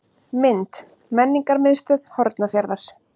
Mynd: Menningarmiðstöð Hornafjarðar.